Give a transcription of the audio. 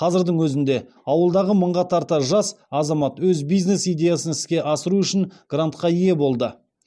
қазірдің өзінде ауылдағы мыңға тарта жас азамат өз бизнес идеясын іске асыру үшін грантқа ие болды